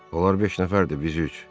Onlar beş nəfərdir, biz üç.